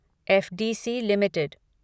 FDC limited